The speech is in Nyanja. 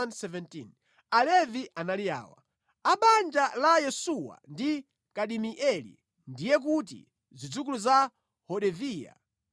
Alevi anali awa: A banja la Yesuwa ndi Kadimieli, ndiye kuti zidzukulu za Hodaviya 74.